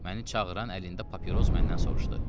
Məni çağıran əlində papiros məndən soruşdu.